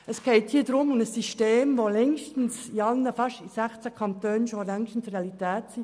Es geht um ein System, welches in 16 Kantonen längst Realität ist.